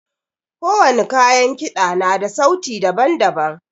Ko wani kayan kida na da sauti daban-daban.